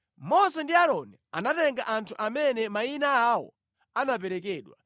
Mose ndi Aaroni anatenga anthu amene mayina awo anaperekedwa,